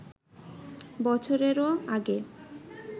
বছরেরও আগের